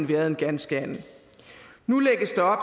været en ganske anden nu lægges der